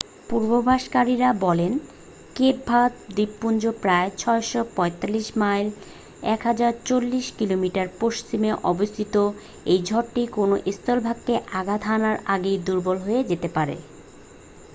পূর্বাভাসকারীরা বলে Cape Verde দ্বীপপুঞ্জের প্রায় ৬৪৫ মাইল ১০৪০ কিমি পশ্চিমে অবস্থিত এই ঝড়টি কোন স্থলভাগকে আঘাত হানার আগেই দুর্বল হয়ে যেতে পারে।